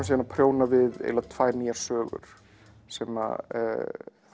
síðan að prjóna við eiginlega tvær nýjar sögur sem